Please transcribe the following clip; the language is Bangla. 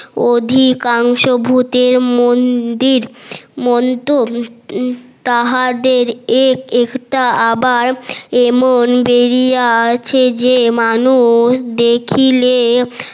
অধিকাঙ্কশ ভুতের মন্দির মন্ত তাহাদের এক একটা আবার এমন ছবরিয়া আে যে মানুষ দেখিলে